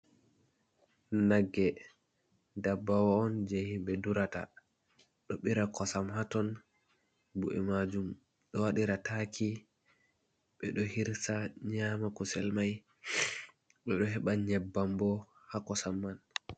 Nagge, ndabbawa on jey himɓe durata, ɗo ɓira kosam haa ton, bu’e maajum ɗo waɗira taaki, ɓe ɗo hirsa nyaama kusel may, ɓe ɗo heɓa nyebbam bo haa kosam man.